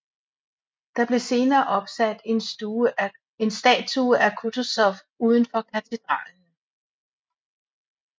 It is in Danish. Der blev senere opsat en statue af Kutuzov udenfor katedralen